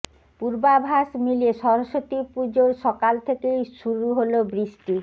পূর্বাভাস মিলিয়ে সরস্বতী পুজোর সকাল থেকেই শুরু হল বৃষ্টি